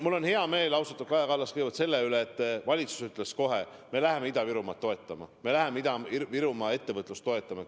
Mul on hea meel, austatud Kaja Kallas, kõigepealt selle üle, et valitsus ütles kohe, et me läheme Ida-Virumaad toetama, me läheme Ida-Virumaa ettevõtlust toetama.